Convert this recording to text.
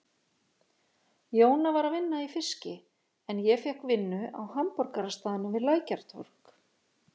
Jóna var að vinna í fiski en ég fékk vinnu á hamborgarastaðnum við Lækjartorg.